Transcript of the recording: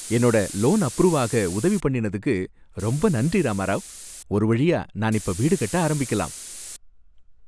என்னோட loan approve ஆக உதவி பண்ணினதுக்கு ரொம்ப நன்றி ராமாராவ். ஒருவழியா நான் இப்ப வீடு கட்ட ஆரம்பிக்கலாம்.